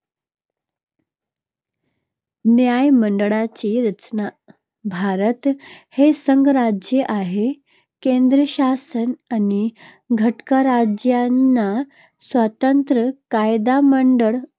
न्यायमंडळाची रचना - भारत हे संघराज्य आहे. केंद्रशासन आणि घटकराज्यांना स्वतंत्र कायदेमंडळ